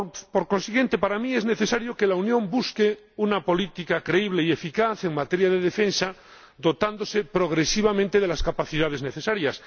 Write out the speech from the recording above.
Por consiguiente, para mí es necesario que la Unión busque una política creíble y eficaz en materia de defensa, dotándose progresivamente de las capacidades necesarias.